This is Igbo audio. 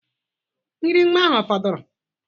Nri nwa ahụ ọ fọdụrụ?